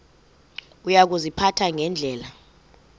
uya kuziphatha ngendlela